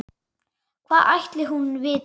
Hvað ætli hún viti?